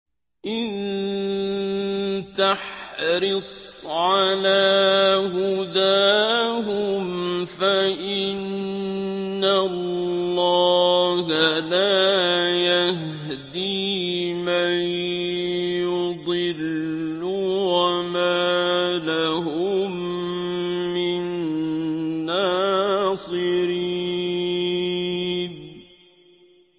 إِن تَحْرِصْ عَلَىٰ هُدَاهُمْ فَإِنَّ اللَّهَ لَا يَهْدِي مَن يُضِلُّ ۖ وَمَا لَهُم مِّن نَّاصِرِينَ